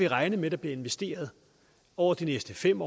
regne med bliver investeret over de næste fem